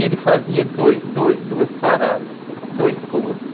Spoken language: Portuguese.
Ele fazia dois dois duas paradas, dois pousos.